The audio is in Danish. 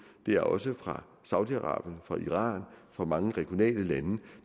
det er også fra saudi arabien iran og mange regionale lande